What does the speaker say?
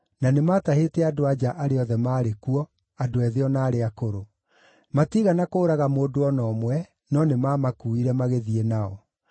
na nĩmatahĩte andũ-a-nja arĩa othe maarĩ kuo, andũ ethĩ o na arĩa akũrũ. Matiigana kũũraga mũndũ o na ũmwe, no nĩmamakuuire magĩthiĩ nao.